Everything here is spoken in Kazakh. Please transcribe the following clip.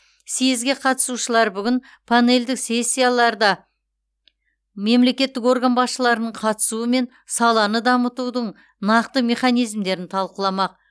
създге қатысушылар бүгін панельдік сессияларда мемлекеттік орган басшыларының қатысуымен саланы дамытудың нақты механизмдерін талқыламақ